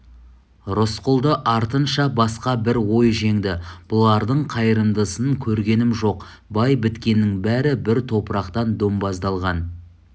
рысқұлды артынша басқа бір ой жеңді бұлардың қайырымдысын көргенім жоқ бай біткеннің бәрі бір топырақтан домбаздалған